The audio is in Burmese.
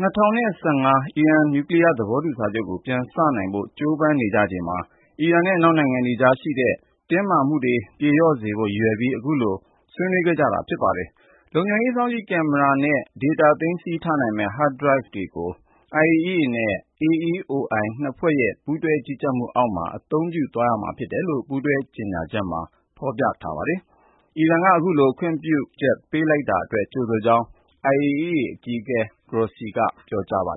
၀၁၅ အီရန် နျူကလီးယား သဘောတူစာချုပ်ကို ပြန်စနိုင်ဖို့ ကြိုးပမ်းနေကြချိန်မှာ အီရန်နဲ့ အနောက်နိုင်ငံတွေကြား ရှိနေတဲ့ တင်းမာမှုတွေ ပြေလျော့စေဖို့ ရည်ရွယ်ပြီး အခုလို ဆွေးနွေးခဲ့ကြတာ ဖြစ်ပါတယ်။ လုံခြုံရေး စောင့်ကြည့်ကင်မရာနဲ့ ဒေတာ သိမ်းဆည်းထားနိုင်မယ့် Hard-Drive တွေကို IAEA နဲ့ AEOI နှစ်ဖွဲ့ရဲ့ ပူးတွဲကြီးကြပ်မှုအောက်မှာ အသုံးပြုသွားရမှာ ဖြစ်တယ်လို့ ပူးတွဲကြေညာချက်မှာ ဖော်ပြထားပါတယ်။ အီရန်က အခုလို ခွင့်ပြုချက် ပေးလိုက်တာအတွက် ကြိုဆိုကြောင်း IAEA အကြီးအကဲ Grossi က ပြောကြားပါ